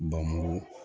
Bamakɔ